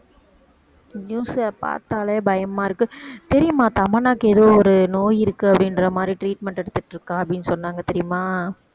news அ பார்த்தாலே பயமா இருக்கு தெரியுமா தமன்னாவுக்கு ஏதோ ஒரு நோய் இருக்கு அப்படின்ற மாதிரி treatment எடுத்துட்டு இருக்கா அப்படின்னு சொன்னாங்க தெரியுமா